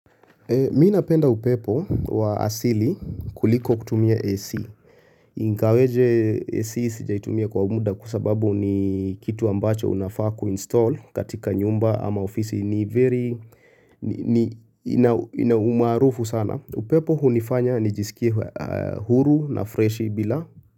Mimi napenda upepo wa asili kuliko kutumia AC. Ingaweje AC sijaitumia kwa muda kwasababu ni kitu ambacho unafaa ku install katika nyumba ama ofisi ni very ina umaarufu sana. Upepo hunifanya nijisikie huru na freshi bila.